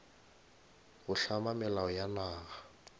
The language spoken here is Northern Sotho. go hlama melao ya naga